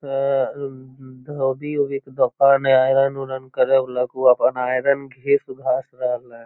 अअं धोबी-उबी क दोकान हय आयरन उरन करे वला क उ अपन आयरन घिस-घास रहले हय।